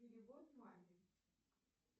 перевод маме